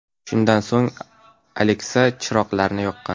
Shundan so‘ng Alexa chiroqlarni yoqqan.